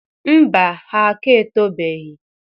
Mba, ha aka etobeghi